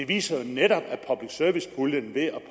viser jo netop at public service puljen ved at